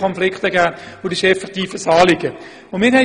Es handelt sich also wirklich um ein aktuelles Anliegen.